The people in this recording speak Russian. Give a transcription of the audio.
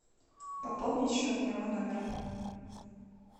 пополнить счет моего номера